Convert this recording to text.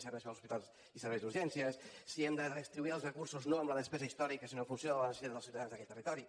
als hospitals i serveis d’urgències si hem de redistribuir els recursos no amb la despesa històrica sinó en funció de la necessitat dels ciutadans d’aquell territori